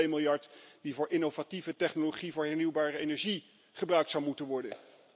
Net zoals de 2 miljard die voor innovatieve technologie voor hernieuwbare energie gebruikt zou moeten worden.